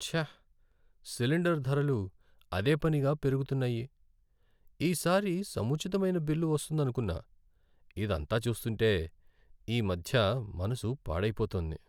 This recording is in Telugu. ఛ! సిలిండర్ ధరలు అదే పనిగా పెరుగుతున్నాయి. ఈసారి సముచితమైన బిల్లు వస్తుందనుకున్నా. ఇదంతా చూస్తుంటే ఈమధ్య మనసు పాడైపోతోంది.